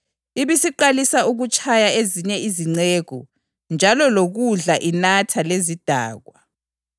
ibisiqalisa ukutshaya ezinye izinceku njalo lokudla inatha lezidakwa.